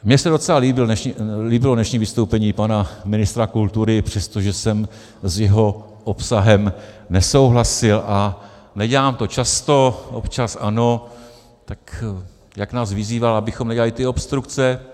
Mně se docela líbilo dnešní vystoupení pana ministra kultury, přestože jsem s jeho obsahem nesouhlasil, a nedělám to často, občas ano, tak jak nás vyzýval, abychom nedělali ty obstrukce.